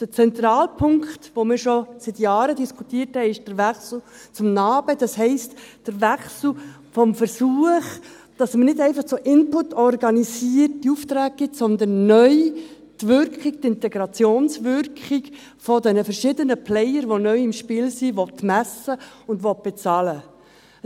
Der zentrale Punkt, den wir schon seit Jahren diskutiert haben, ist der Wechsel zum NA-BE, das heisst, der Wechsel des Versuchs, dass man nicht einfach so inputorientierte Aufträge gibt, sondern neu die Wirkung, die Integrationswirkung dieser verschiedenen Player, die neu im Spiel sind, messen und bezahlen will.